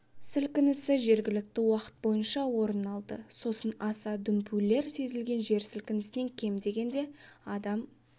сілкінісі жергілікті уақыт бойынша орын алды сосын аса дүмпулер сезілген жер сілкінісінен кем дегенде адам